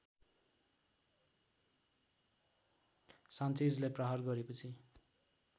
सान्चेजलाई प्रहार गरेपछि